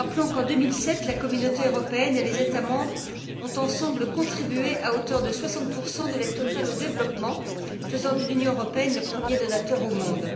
Rappelons qu'en 2007, la Communauté européenne et les États membres ont ensemble contribué, à hauteur de 60 à l'aide totale au développement, faisant de l'Union européenne le premier donateur au monde.